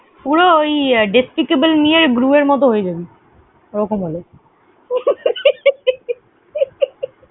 পুরো ওই Despicable Me এর Gru এর মত হয়েযাবি। ওরকম হয়ে যাবি।